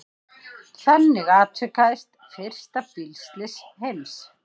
Þannig atvikaðist fyrsta bílslys heims.